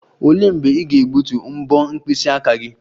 Olee mgbe ị ga-egbutu mbo mkpịsị aka gị?